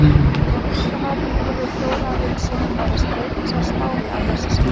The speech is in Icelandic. Tónlistarmaðurinn Ingólfur Þórarinsson fær að spreyta sig í spánni að þessu sinni.